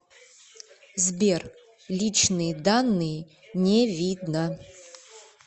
сбер личные данные не видно